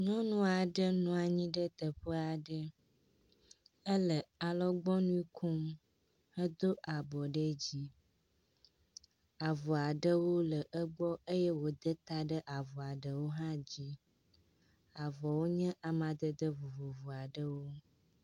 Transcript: Nyɔnu aɖe nɔ anyi ɖe teƒe aɖe, ele alɔgbɔnu kom, edo abɔ ɖe dzi. Avɔa ɖewo le egbɔ eye wòda ta ɖe avɔa ɖewo hã dzi. Avɔwo nye amadede vovovo aɖewo.